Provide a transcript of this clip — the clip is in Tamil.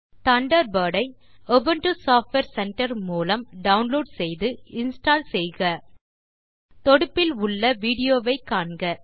தண்டர்பர்ட் ஐ உபுண்டு சாஃப்ட்வேர் சென்டர் மூலம் டவுன்லோட் செய்து இன்ஸ்டால் செய்க தொடுப்பில் உள்ள விடியோ வை காண்க